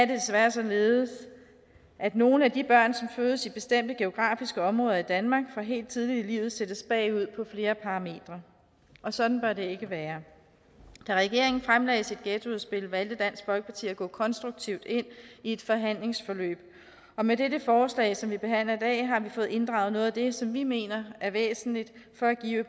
desværre således at nogle af de børn som fødes i bestemte geografiske områder i danmark fra helt tidligt i livet sættes bagud på flere parametre og sådan bør det ikke være da regeringen fremlagde sit ghettoudspil valgte dansk folkeparti at gå konstruktivt ind i et forhandlingsforløb og med det forslag som vi behandler i dag har vi fået ændret noget af det som vi mener er væsentligt for at give